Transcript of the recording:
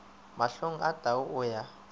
mahlong a tau o ya